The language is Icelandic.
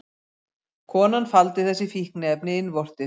Konan faldi þessi fíkniefni innvortis